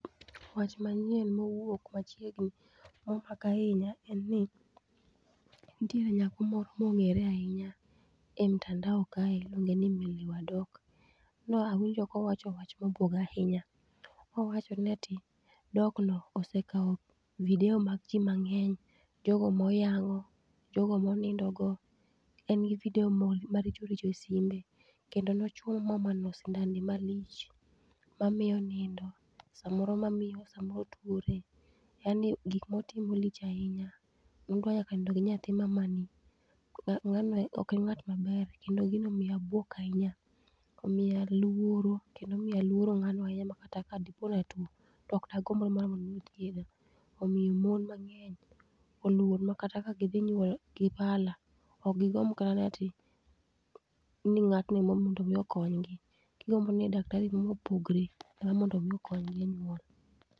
Wach manyiem mowuok machiegni ma omaka ahinya en ni nitiere nyako mor mong'ere ahinya e mtandao kae, iluonge ni Milly wa Dok. Ne awinjo kowacho wach mabuoga ahinya. Nowacho ne ti "Dok no osekao video mag ji mang'eny, jogo moyango, jogo monindo go, en gi video maricho richo e simbe, kendo nochwoyo mamano sindande malich, mamiyo onindo. Samoro mamiyo, samoro otwore. Yani gik ma otimo lich ahinya. Ne odwa nyaka nindo gi nyathi mamani. Ng'anoe ok ong'at maber kendo gino omiya buok ahinya. Omiya lworo kendo omiya alworo ng'ano ahinya makata kadiponi atwo, to okdagomb ni mar mondo omi othiedha. Omiyo mon mang'eny olwor makata gidhi nyuol gi pala, okgigomb kata ni ati, ni ng'atni ema mondo omi okonygi. Gigombi ni daktari moro ma opogore em mondo omi okonygi e nyuol.